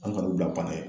An ka o bila n'a ye